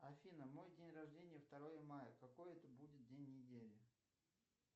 афина мой день рождения второе мая какой это будет день недели